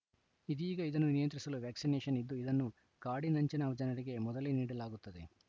ಇದೀಗ ಇದನ್ನು ನಿಯಂತ್ರಿಸಲು ವ್ಯಾಕ್ಸಿನೇಶನ್‌ ಇದ್ದು ಇದನ್ನು ಕಾಡಿನಂಚಿನ ಜನರಿಗೆ ಮೊದಲೇ ನೀಡಲಾಗುತ್ತದೆ